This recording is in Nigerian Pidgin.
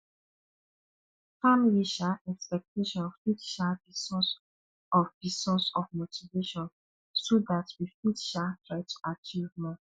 family um expectation fit um be source of be source of motivation so dat we fit um try to achieve more